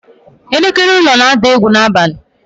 Elekere ụlọ na-ada egwu n'abalị.